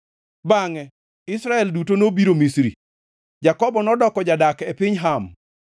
Bangʼe Israel duto nobiro Misri; Jakobo nodoko jadak e piny Ham.